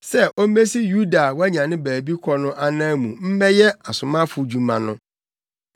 sɛ ommesi Yuda a wanya ne baabi kɔ no anan mu mmɛyɛ asomafodwuma no.”